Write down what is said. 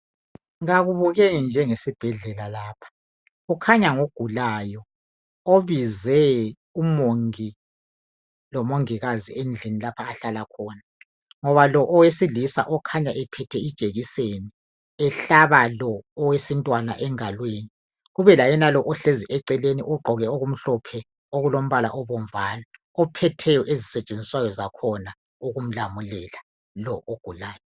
Kakubukeki njengesibhedlela lapha kukhanya ngumuntu ogulayo obize umongi lomongikazi endlini lapha ahlala khona ngoba lo owesilisa okhanya ephethe ijekiseni ehlaba lo owesintwana engalweni kube layenalo ohlezi eceleni ogqoke okumhlophe okulombala obomvana ophetheyo ezisetshenziswayo zakhona ukumlamulela lo ogulayo.